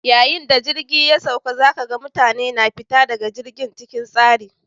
Yayin da jirgi ya sauka, za ka ga mutane na fita daga jirgin cikin tsari.